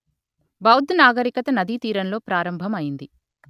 బౌధ్ నాగరికత నదీతీరంలో ప్రారంభం అయింది